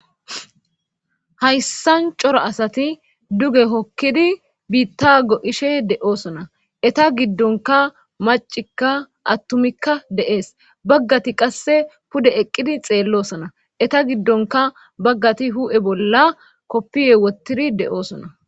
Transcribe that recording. Hayssan cora asati duge hokkidi biitta go'ishe de'oosona eta giddonka macikka attumikka de'ees baggati qasse pude eqqidi xeellosona eta giddonka baggati hu'e bolla koppiye wottidi de'oosona